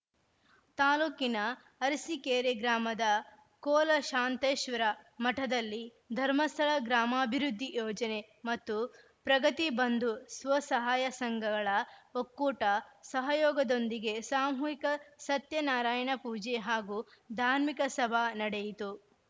ತಾಲೂಕಿನ ಅರಸಿಕೇರೆ ಗ್ರಾಮದ ಕೋಲಶಾಂತೇಶ್ವರ ಮಠದಲ್ಲಿ ಧರ್ಮಸ್ಥಳ ಗ್ರಾಮಾಭಿವೃದ್ಧಿ ಯೋಜನೆ ಮತ್ತು ಪ್ರಗತಿ ಬಂಧು ಸ್ವಸಹಾಯ ಸಂಘಗಳ ಒಕ್ಕೂಟ ಸಹಯೋಗದೊಂದಿಗೆ ಸಾಮೂಹಿಕ ಸತ್ಯನಾರಾಯಣ ಪೂಜೆ ಹಾಗೂ ಧಾರ್ಮಿಕ ಸಭಾ ನಡೆಯಿತು